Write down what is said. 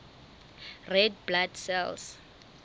red blood cells